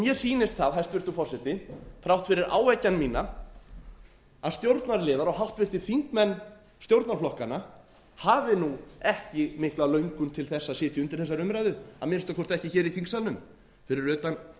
mér sýnist það hæstvirtur forseti þrátt fyrir áeggjan mína að stjórnarliðar og háttvirtir þingmenn stjórnarflokkanna hafi nú ekki mikla lögðu til þess að sitja undir þessari umræðu að minnsta kosti ekki hér í þingsalnum fyrir utan